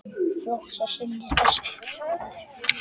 Flokks er sinni þessi maður.